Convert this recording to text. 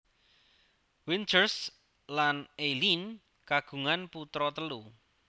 Winters lan Eileen kagungan putra telu